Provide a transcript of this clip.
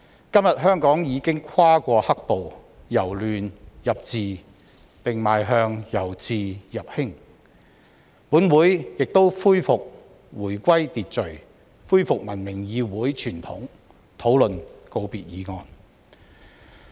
今天香港已經跨過"黑暴"，"由亂入治"，並邁向"由治入興"，本會亦回歸秩序，恢復文明議會傳統，討論告別議案。